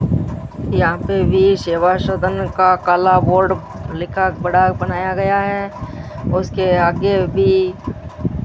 यहां पे भी सेवा सदन का काला बोर्ड लिखा बड़ा बनाया गया है उसके आगे भी --